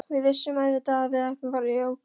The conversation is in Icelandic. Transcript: Við vissum auðvitað að við vorum í ógöngum.